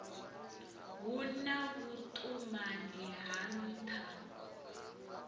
hu na vhuṱumani ha nṱha